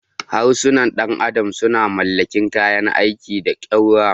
Harsunan ɗan adam sun mallaki kayan aiki da ƙaura.